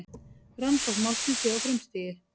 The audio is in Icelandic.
Rannsókn málsins sé á frumstigi